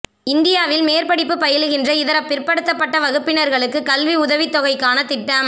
இந்தியாவில் மேற்படிப்பு பயிலுகின்ற இதர பிற்படுத்தப்பட்ட வகுப்பினர்களுக்கு கல்வி உதவித்தொகைக்கான திட்டம்